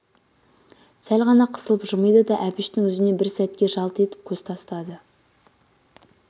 сәл ғана қысылып жымиды да әбіштің жүзіне бір сәтке жалт етіп көз тастады